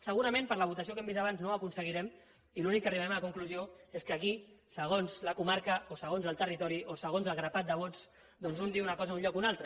segurament per la votació que hem vist abans no ho aconseguirem i l’únic que arribarem a la conclusió és que aquí segons la comarca o segons el territori o segons el grapat de vots doncs un diu una cosa a un lloc o a un altre